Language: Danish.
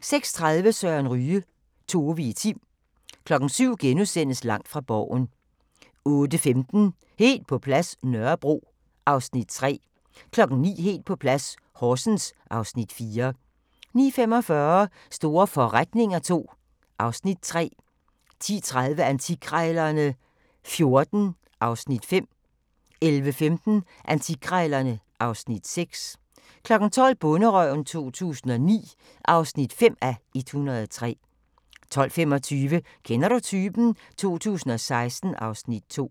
06:30: Søren Ryge: Tove i Tim 07:00: Langt fra Borgen * 08:15: Helt på plads – Nørrebro (Afs. 3) 09:00: Helt på plads - Horsens (Afs. 4) 09:45: Store forretninger II (Afs. 3) 10:30: Antikkrejlerne XIV (Afs. 5) 11:15: Antikkrejlerne (Afs. 6) 12:00: Bonderøven 2009 (5:103) 12:25: Kender du typen? 2016 (Afs. 2)